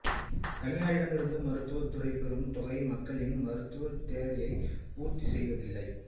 தனியாரிடம் இருந்த மருத்துவத்துறை பெரும் தொகை மக்களின் மருத்துவத் தேவையை பூர்த்திசெய்யவில்லை